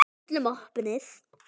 Öllum opið.